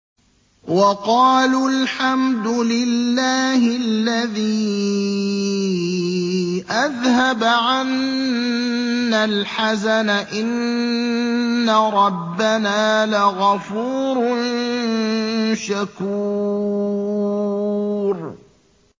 وَقَالُوا الْحَمْدُ لِلَّهِ الَّذِي أَذْهَبَ عَنَّا الْحَزَنَ ۖ إِنَّ رَبَّنَا لَغَفُورٌ شَكُورٌ